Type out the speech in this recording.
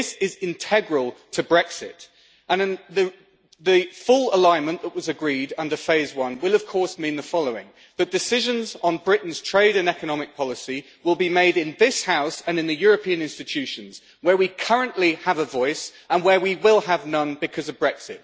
This is integral to Brexit, and in the full alignment' that was agreed under phase one it will of course mean the following the decisions on Britain's trade and economic policy will be made in this House and in the European institutions, where we currently have a voice but where we will have none because of Brexit.